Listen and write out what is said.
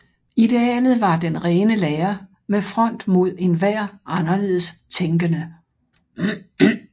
Idealet var den rene lære med front mod enhver anderledes tænkende